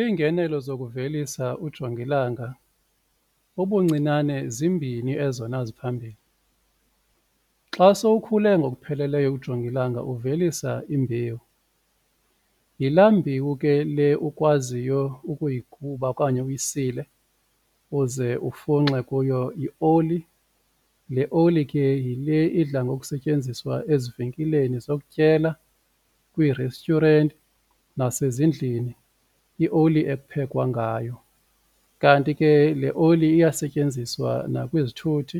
Iingenelo zokuvelisa ujongilanga ubuncinane zimbini ezona ziphambili xa sowukhule ngokupheleleyo ujongilanga uvelisa imbewu, yilaa mbewu ke le ukwaziyo ukuyiguba okanye uyisile uze ufunxe kuyo ioli, le oli ke yile idla ngokusetyenziswa ezivenkileni zokutyela, kwii-restaurant nasezindlini ioli ekuphekwa ngayo. Kanti ke le oli iyasetyenziswa nakwizithuthi